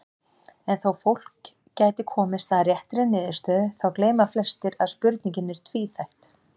En þó fólk gæti komist að réttri niðurstöðu þá gleyma flestir að spurningin er tvíþætt.